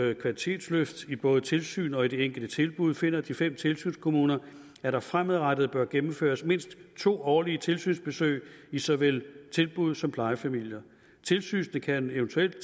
et kvalitetsløft i både tilsyn og i det enkelte tilbud finder de fem tilsynskommuner at der fremadrettet bør gennemføres mindst to årlige tilsynsbesøg i såvel tilbud som plejefamilier tilsynet kan eventuelt